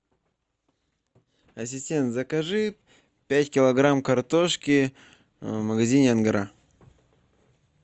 ассистент закажи пять килограмм картошки в магазине ангара